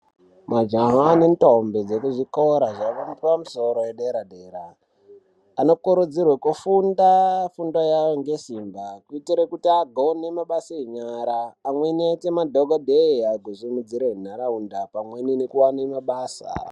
Majaha nentombi dzekuzvikora zvepamusoro edera dera anokurudzirwa kufunda fundo yavo ngesimba kuitire kuti agone mabasa enyara , amweni aite madhokodheya kusimudzire nharaunda pamweni nekuwane mabasa .